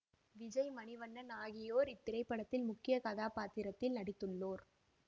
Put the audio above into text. விஜய் மணிவண்ணன் ஆகியோர் இத்திரைப்படத்தில் முக்கிய கதாப்பாத்திரத்தில் நடித்துள்ளோர்